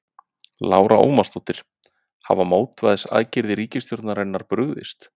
Lára Ómarsdóttir: Hafa mótvægisaðgerðir ríkisstjórnarinnar brugðist?